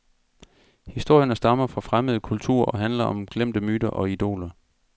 Historierne stammer fra fremmede kulturer og handler om glemte myter og idoler.